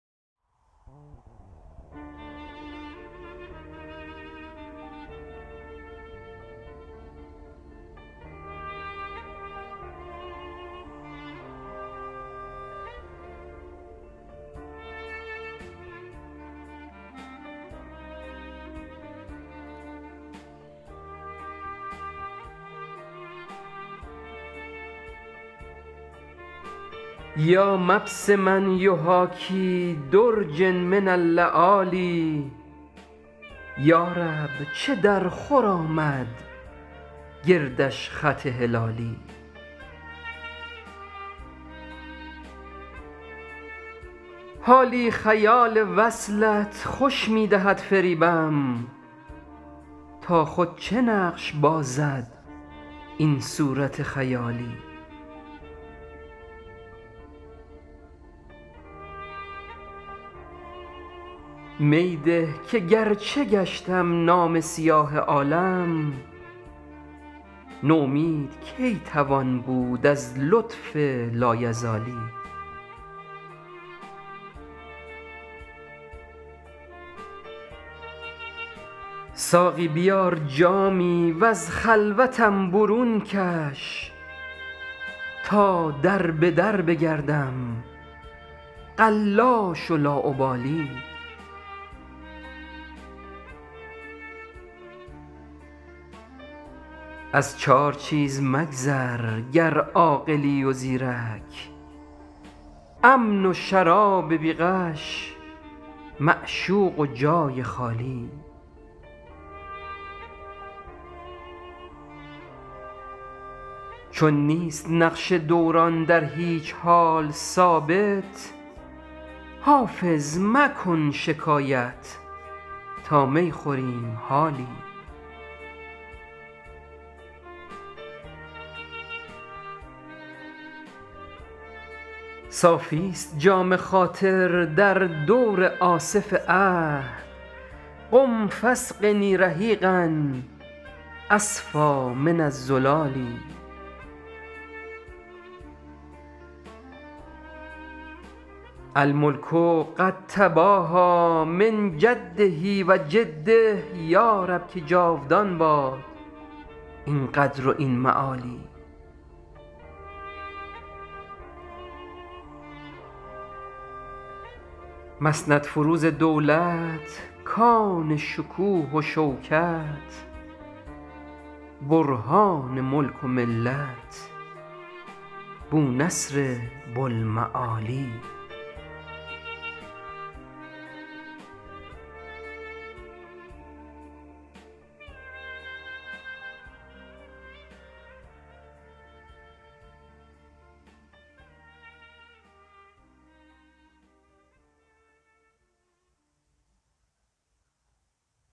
یا مبسما یحاکی درجا من اللآلی یا رب چه درخور آمد گردش خط هلالی حالی خیال وصلت خوش می دهد فریبم تا خود چه نقش بازد این صورت خیالی می ده که گرچه گشتم نامه سیاه عالم نومید کی توان بود از لطف لایزالی ساقی بیار جامی و از خلوتم برون کش تا در به در بگردم قلاش و لاابالی از چار چیز مگذر گر عاقلی و زیرک امن و شراب بی غش معشوق و جای خالی چون نیست نقش دوران در هیچ حال ثابت حافظ مکن شکایت تا می خوریم حالی صافیست جام خاطر در دور آصف عهد قم فاسقني رحیقا أصفیٰ من الزلال الملک قد تباهیٰ من جده و جده یا رب که جاودان باد این قدر و این معالی مسندفروز دولت کان شکوه و شوکت برهان ملک و ملت بونصر بوالمعالی